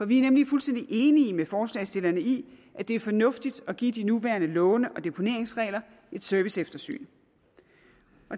vi er nemlig fuldstændig enige med forslagsstillerne i at det er fornuftigt at give de nuværende låne og deponeringsregler et serviceeftersyn